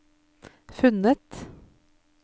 funnet